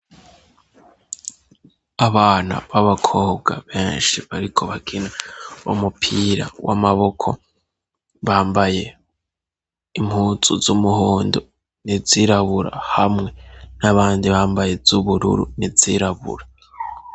Aana b'abakobwa benshi bariko bakina umupira w'amaboko bambaye impuzu z'umuhondo n'izirabura, hamwe n'abandi bambaye iz'ubururu n'izirabura.